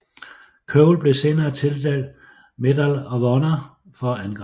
Cole blev senere tildelt Medal of Honor for angrebet